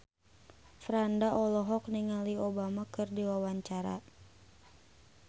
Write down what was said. Franda olohok ningali Obama keur diwawancara